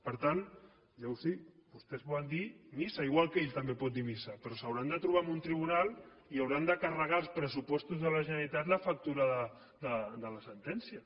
per tant llavors vostès poden dir missa igual que ell també pot dir missa però s’hauran de trobar en un tribunal i hauran de carregar als pressupostos de la generalitat la factura de la sentència